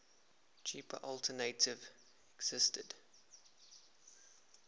cheaper alternative existed